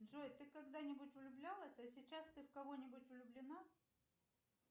джой ты когда нибудь влюблялась а сейчас ты в кого нибудь влюблена